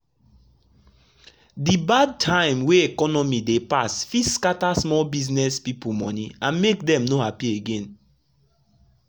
de bad time wey economy dey pass fit scatter small business people monie and make dem no happy again.